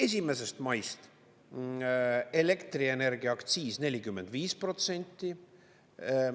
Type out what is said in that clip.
1. maist elektrienergia aktsiis 45%.